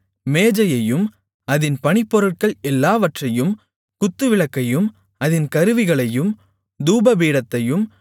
மேஜையையும் அதின் பணிப்பொருட்கள் எல்லாவற்றையும் குத்துவிளக்கையும் அதின் கருவிகளையும் தூப பீடத்தையும்